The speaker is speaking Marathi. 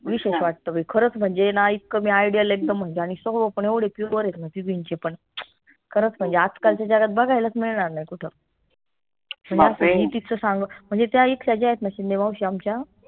खरंच म्हनजे ना इतकं मी ideal अग हो पन एवढं pure आहेत ना तिघींचे पन खरच म्हनजे आजकालच्या जगात बघायलाच मिळणार नाई कुठं म्हनजे त्या आहेत ना शिंदे माउशी आमच्या